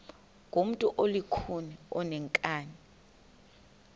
ngumntu olukhuni oneenkani